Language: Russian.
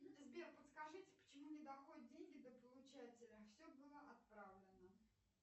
сбер подскажите почему не доходят деньги до получателя все было отправлено